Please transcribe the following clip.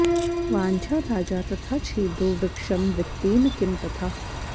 वाञ्छा राजा तथा छेदो वृक्षं वित्तेन किं तथा